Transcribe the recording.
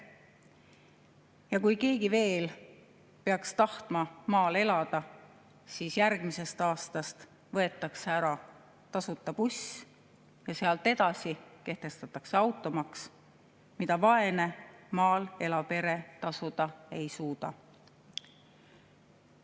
Ja kui keegi veel peaks tahtma maal elada, siis järgmisest aastast võetakse ära tasuta buss ja sealt edasi kehtestatakse automaks, mida vaene maal elav pere tasuda ei suuda.